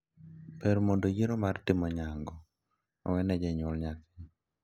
Ber mondo yiero mar timo nyango owene janyuol nyathi,